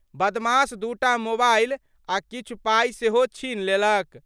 बदमाश दूटा मोबाइल आ किछु पाइ सेहो छीन लेलक।